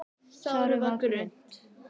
Sárið var grunnt.